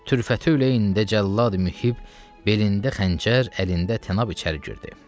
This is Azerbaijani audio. Türfəti leyyində cəllad Mühib belində xəncər, əlində tənab içəri girdi.